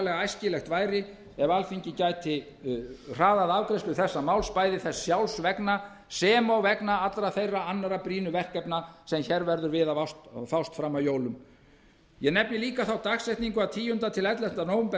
endurskoðun samkomulagsins við ísland þótt ég telji hafið yfir allan vafa að stjórn sjóðsins muni ljúka því máli á fyrirliggjandi grundvelli mun það ekki auka traust á okkur ef það tekur margar vikur enn að staðfesta samninginn að lokum má nefna að tíunda til ellefta nóvember næst